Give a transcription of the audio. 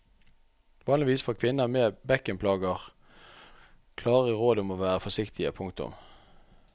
Vanligvis får kvinner med bekkenplager klare råd om å være forsiktige. punktum